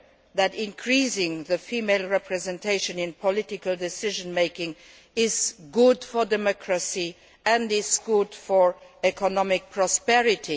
idea that increasing female representation in political decision making is good for democracy and good for economic prosperity.